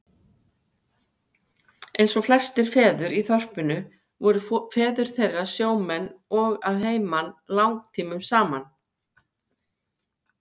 Eins og flestir feður í þorpinu voru feður þeirra sjómenn og að heiman langtímum saman.